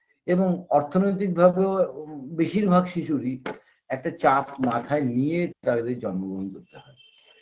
এবং অর্থনৈতিক ভাবেও বেশিরভাগ শিশুরই একটা চাপ মাথায় নিয়ে তাদের জন্মগ্রহণ করতে হয়